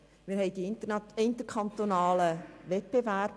Wir unterliegen dem interkantonalen Wettbewerb;